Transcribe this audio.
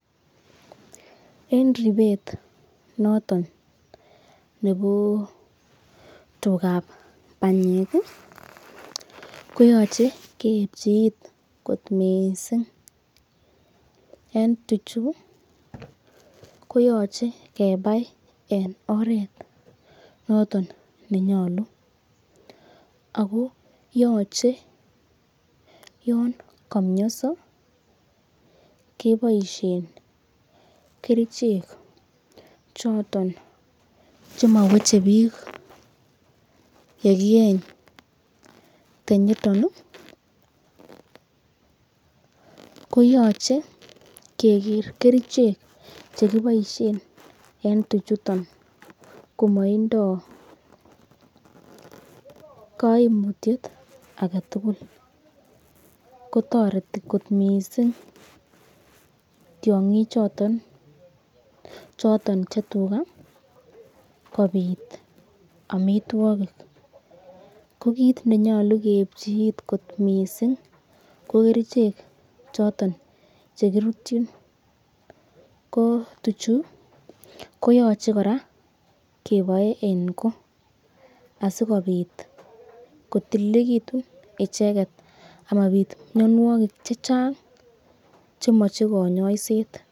En ripet notonnebo tugak banyek koyoche keipchi it kot mising! En tuchu koyoche kebai en oret noton ne nyolu ago yoche yon komionso keboisien kerichek choton chemoweche biiik ye kiyenye tenyoto koyoche keger kerichek che kiboisien en tuchuto komoindoi koimutyet age tugul. Kotoreti kot mising tiong'ichoto choto che tuga kobit amitwogik. Ko kiit nenyolu keepchi iit kot mising! Ko kerichek choton che kirutyin ko tuchou koyoche kora kebae en ko asikobit kotililiegitun icheget amabit mianwogik che chang che moche kanyoiset.